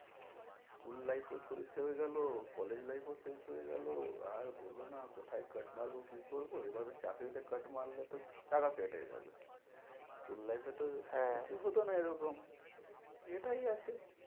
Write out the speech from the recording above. School life ও শেষ হয়ে গেলো college life ও শেষ হয়ে গেল আর বলোনা কোথায় cut মারবো কি করবো, এবার চাকরিত cut মারলে তো টাকা কেটে যাবে school life এ তো হ্যাঁ কিছু হতো না এরকম, এটাই আছে।